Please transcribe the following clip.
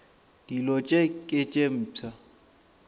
dilo tše ke tše mpsha